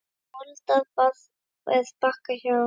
Moldar barð er Bakka hjá.